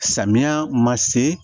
Samiya ma se